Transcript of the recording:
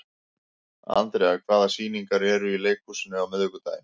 Andrea, hvaða sýningar eru í leikhúsinu á miðvikudaginn?